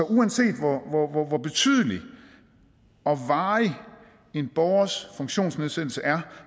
uanset hvor hvor betydelig og varig en borgers funktionsnedsættelse er